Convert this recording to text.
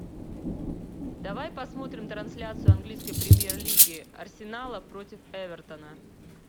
давай посмотрим трансляцию английской премьер лиги арсенала против эвертона